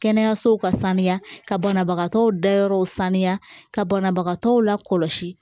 Kɛnɛyasow ka sanuya ka banabagatɔw dayɔrɔ sanuya ka banabagatɔw lakɔlɔsi